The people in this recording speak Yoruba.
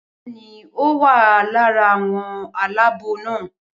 Bẹẹni o wa lára àwọn aláàbò na